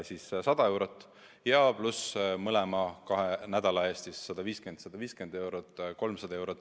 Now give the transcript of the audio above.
Siis 100 eurot maha, pluss mõlema kahe nädala eest 150 pluss 150 eurot, kokku 300 eurot.